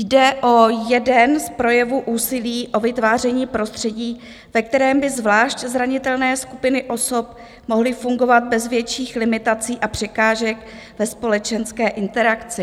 Jde o jeden z projevů úsilí o vytváření prostředí, ve kterém by zvlášť zranitelné skupiny osob mohly fungovat bez větších limitací a překážek ve společenské interakci.